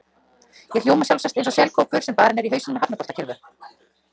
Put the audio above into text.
Ég hljóma sjálfsagt eins og selkópur sem barinn er í hausinn með hafnaboltakylfu.